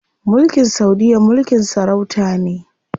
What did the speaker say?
Mulkin saudiya mulkin sarauta ne.